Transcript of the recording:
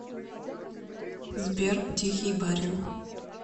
сбер тихий барин